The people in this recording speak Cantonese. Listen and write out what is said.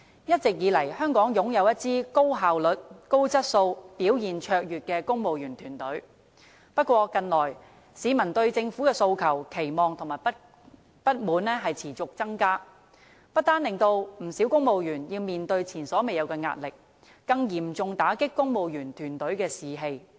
一直以來，香港擁有一支高效率、高質素及表現卓越的公務員團隊，不過，近來市民對政府的訴求、期望和不滿持續增加，不單令不少公務員要面對前所未有的壓力，更嚴重打擊公務員團隊的士氣。